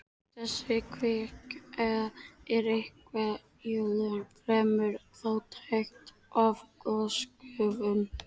Þessi kvika er venjulega fremur fátæk af gosgufum.